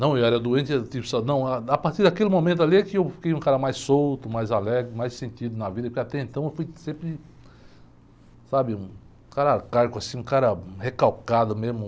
Não, eu era doente, era do tipo, só, não, ah, a partir daquele momento ali é que eu fiquei um cara mais solto, mais alegre, com mais sentido na vida, porque até então eu fui sempre, sabe? Um cara arcaico, assim, um cara recalcado mesmo.